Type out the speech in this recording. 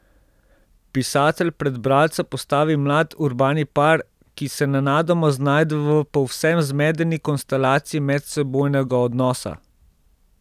Pisatelj pred bralca postavi mlad urbani par, ki se nenadoma znajde v povsem zmedeni konstelaciji medsebojnega odnosa.